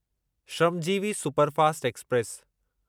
Shramjeevi superfast express